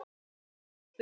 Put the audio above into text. Og enn er spurt.